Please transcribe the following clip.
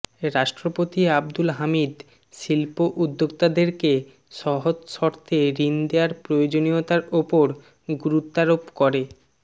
রাষ্ট্রপতি আব্দুল হামিদ শিল্প উদ্যোক্তাদেরকে সহজ শর্তে ঋণ দেয়ার প্রয়োজনীয়তার ওপর গুরুত্বারোপ করে